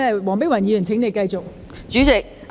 黃碧雲議員，請你繼續發言。